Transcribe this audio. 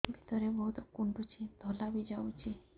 ଭିତରେ ବହୁତ କୁଣ୍ଡୁଚି ଧଳା ବି ଯାଉଛି